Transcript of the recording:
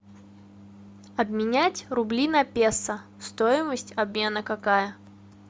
обменять рубли на песо стоимость обмена какая